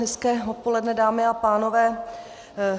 Hezké odpoledne, dámy a pánové.